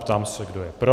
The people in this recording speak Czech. Ptám se, kdo je pro.